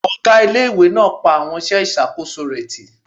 Ọgá ilé-ìwé náà pa àwọn iṣẹ́ ìṣàkóso rẹ̀ tì